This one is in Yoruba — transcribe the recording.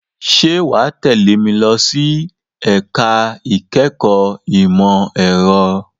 Ṣé wà á tẹ́lẹ̀ mi lọ ẹ̀ka-ẹ̀kọ́ ìmọ̀-ẹ̀rọ?